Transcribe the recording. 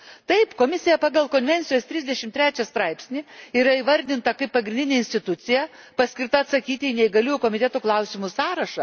Taip, Komisija pagal Konvencijos 33 straipsnį yra įvardinta kaip pagrindinė institucija, paskirta atsakyti į Neįgaliųjų komiteto klausimų sąrašą.